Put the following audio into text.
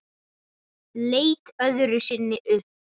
Leit öðru sinni upp.